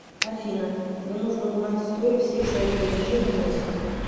афина мне нужно узнать историю всех своих платежей за месяц